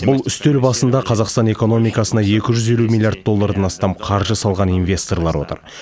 бұл үстел басында қазақстан экономикасына екі жүз елу миллиард доллардан астам қаржы салған инвесторлар отыр